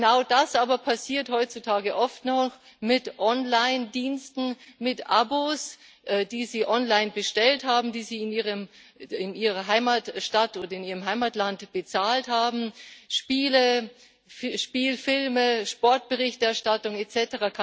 Genau das aber passiert heutzutage oft noch mit Online Diensten mit Abos, die Sie online bestellt haben, die Sie in Ihrer Heimatstadt und in Ihrem Heimatland bezahlt haben Spiele, Spielfilme, Sportberichterstattung etc.